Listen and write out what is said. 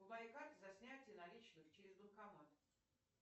за снятие наличных через банкомат